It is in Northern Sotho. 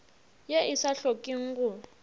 ye e sa hlokeng go